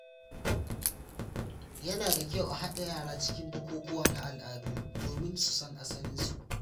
Yana da kyau a haɗa yara cikin bukukuwa na al’adu domin su san asalinsu.